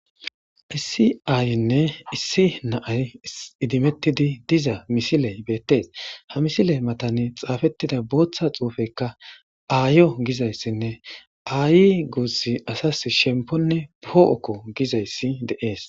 Issi aayenne issi naay idimettidi diza misiley beettees. Ha misile matane xaafettida booththa xuufekka aayo giza issanne aayi guussi asasi shemponne poo'okko giza issi dees.